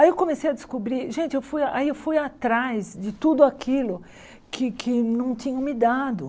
Aí eu comecei a descobrir, gente, eu fui aí eu fui atrás de tudo aquilo que que não tinham me dado.